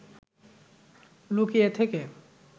লুকিয়ে থেকে